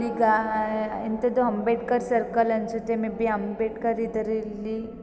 ಇಗ ಎಂತದೊ ಅಂಬೇಡ್ಕರ್ ಸರ್ಕಲ್ ಅನ್ಸುತ್ತೆ ಮೆಬಿ ಅಂಬೇಡ್ಕರ್ ಇದ್ದಾರೆ ಇಲ್ಲಿ--